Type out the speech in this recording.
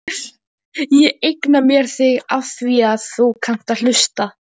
Ég eigna mér þig afþvíað þú kannt að hlusta.